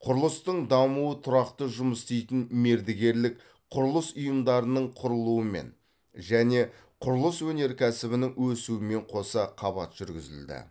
құрылыстың дамуы тұрақты жұмыс істейтін мердігерлік құрылыс ұйымдарының құрылуымен және құрылыс өнеркәсібінің өсуімен қоса қабат жүргізілді